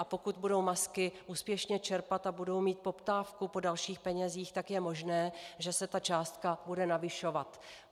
A pokud budou MASky úspěšně čerpat a budou mít poptávku po dalších penězích, tak je možné, že se ta částka bude navyšovat.